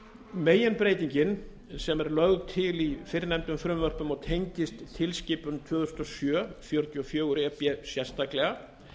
meginbreytingin sem er lögð til í fyrrnefndum frumvörpum og tengist tilskipun tvö þúsund og sjö fjörutíu og fjögur e b sérstaklega